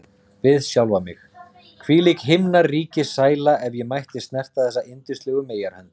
Við sjálfan mig: Hvílík himnaríkissæla, ef ég mætti snerta þessa yndislegu meyjarhönd!